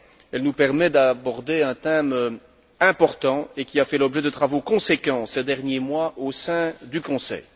Elle nous permet d'aborder un thème important qui a fait l'objet de travaux conséquents ces derniers mois au sein du Conseil.